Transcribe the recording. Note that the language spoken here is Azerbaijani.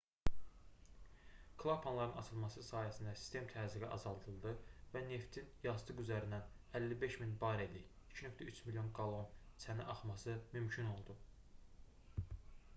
klapanların açılması sayəsində sistem təzyiqi azaldıldı və neftin yastıq üzərindən 55 000 barellik 2,3 milyon qallon çənə axması mümkün oldu